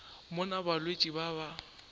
mo na balwetši ba ba